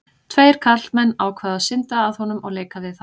Tveir karlmenn ákváðu að synda að honum og leika við hann.